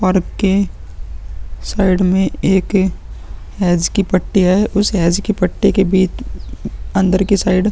और के साइड में एक हैज की पट्टी है। उस हैज की पट्टी की बीच अन्दर के साइड --